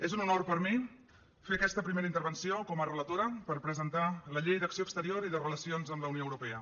és un honor per a mi fer aquesta primera intervenció com a relatora per presentar la llei d’acció exterior i de relacions amb la unió europea